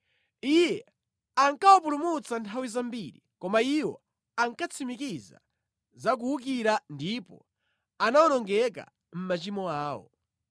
Iye ankawapulumutsa nthawi zambiri, koma iwo ankatsimikiza za kuwukira ndipo anawonongeka mʼmachimo awo.